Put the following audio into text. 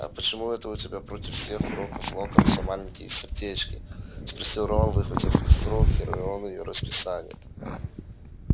а почему это у тебя против всех уроков локонса маленькие сердечки спросил рон выхватив из рук гермионы её расписание